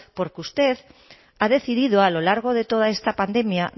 porque usted ha decidido a lo largo de toda esta pandemia